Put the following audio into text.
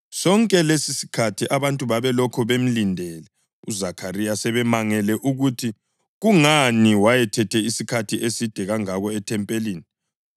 Sonke lesisikhathi abantu babelokhu bemlindele uZakhariya sebemangele ukuthi kungani wayethethe isikhathi eside kangako ethempelini.